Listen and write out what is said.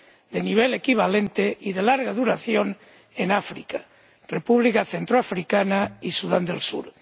de nivel equivalente y de larga duración en África República Centroafricana y Sudán del Sur